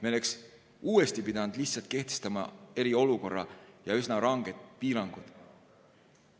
Me oleks uuesti pidanud lihtsalt kehtestama eriolukorra ja üsna ranged piirangud.